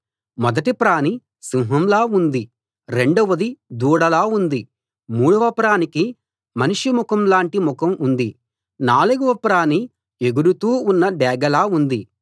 మొదటి ప్రాణి సింహంలా ఉంది రెండవది దూడలా ఉంది మూడవ ప్రాణికి మనిషి ముఖంలాటి ముఖం ఉంది నాలుగవ ప్రాణి ఎగురుతూ ఉన్న డేగలా ఉంది